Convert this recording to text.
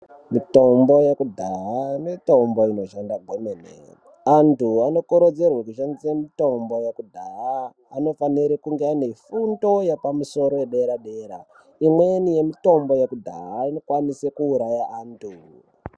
Mitombo yekudhaya mitombo inoshanda kwemene. Antu anokurudzirwe kushandise mitombo yekudhaya, anofanire kunge ane fundo yepamusoro yedera-dera. Imweni yemitombo yekudhaya inokwanise kuuraya antu.